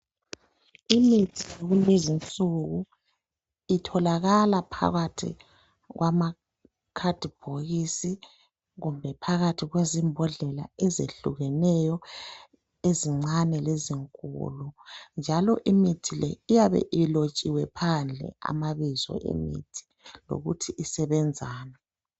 Imithi yakulezi nsuku itholakala phakathi kwama khadibhokisi kumbe phakathi kwezimbodlela ezehlukeneyo ezincane lezinkulu, njalo imithi le iyabe ilotshiwe phandle amabizo emithi lokuthi isebenzani.